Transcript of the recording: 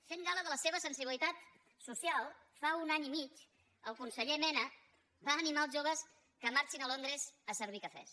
fent gala de la seva sensibilitat social fa un any i mig el conseller mena va animar els joves que marxessin a londres a servir cafès